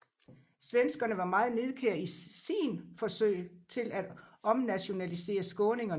Svenskerne var meget nidkære i sin forsøg til at omnationalisere skåningerne